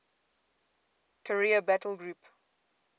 carrier battle group